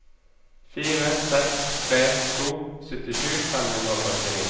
fire seks tre to syttisju fem hundre og førtini